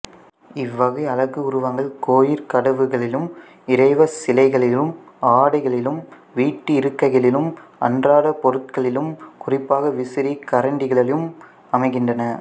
இவ்வகை அழகுருவங்கள் கோயிற் கதவுகளிலும் இறைவிச் சிலைகளிலும் ஆடைகளிலும் வீட்டு இருக்கைகளிலும் அன்றாடப் பொருட்களிலும் குறிப்பாக விசிறி கரண்டிகளிலும் அமைகின்றன